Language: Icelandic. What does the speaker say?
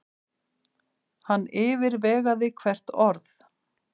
Hann yfirvegaði hvert orð.